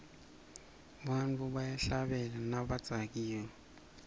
bantfu bayahlabela nabadzakiwe